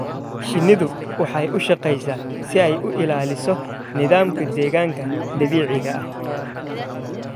Shinnidu waxay u shaqeysaa si ay u ilaaliso nidaamka deegaanka dabiiciga ah.